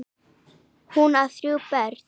Hún á þrjú börn.